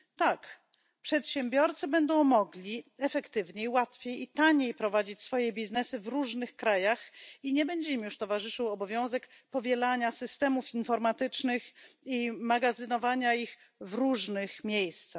Tak, przedsiębiorcy będą mogli efektywniej, łatwiej i taniej prowadzić działalność w różnych krajach i nie będzie im już towarzyszył obowiązek powielania systemów informatycznych i magazynowania ich w różnych miejscach.